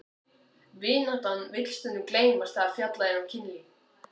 Vináttan vill stundum gleymast þegar fjallað er um kynlíf.